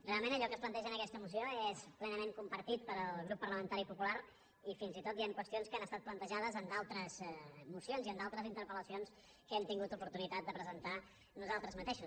realment allò que es planteja en aquesta moció és plenament compartit pel grup parlamentari popular i fins i tot hi han qüestions que han estat plantejades en d’altres mocions i en d’altres interpel·lacions que hem tingut oportunitat de presentar nosaltres mateixos